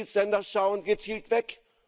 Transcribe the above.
Die Mitgliedsländer schauen gezielt weg.